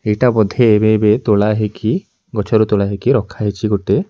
ଏଇଟା ବୋଧେ ଏବେ ଏବେ ତୋଳା ହେଇକି ଗଛରୁ ତୋଳା ହେଇକି ରଖା ହେଇଛି ଗୋଟେ।